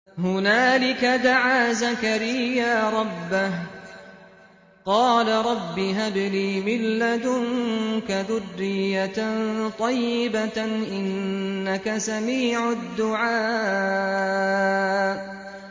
هُنَالِكَ دَعَا زَكَرِيَّا رَبَّهُ ۖ قَالَ رَبِّ هَبْ لِي مِن لَّدُنكَ ذُرِّيَّةً طَيِّبَةً ۖ إِنَّكَ سَمِيعُ الدُّعَاءِ